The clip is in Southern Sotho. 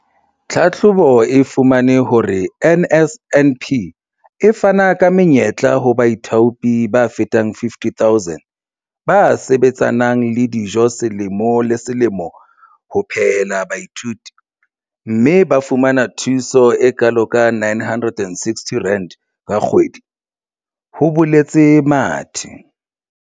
"Tlhahlobo e fumane hore NSNP e fana ka menyetla ho baithaopi ba fetang 50 000 ba sebetsanang le dijo selemo le selemo ho phehela baithuti, mme ba fumana thuso e kalo ka R960 ka kgwedi," ho boletse Mathe.